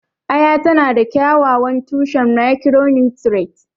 Aya tana da kyakkyawan tushen micronutrients.